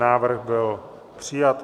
Návrh byl přijat.